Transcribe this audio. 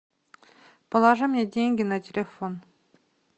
положи мне деньги на телефон